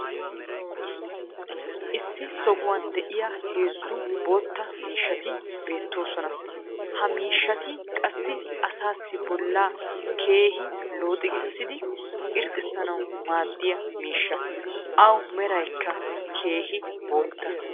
issi sohuwan diya heezzu bootta miishshati beetoosona. Ha miishshati qassi asaassi bollaa keehi looxigiissidi irxxissnawu maaddiya miishsha. Awu meraykka keehi bootta.